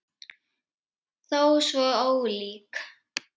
Þó svo ólík.